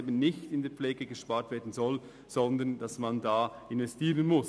In der Pflege soll man nicht sparen, sondern man muss in diesen Bereich investieren.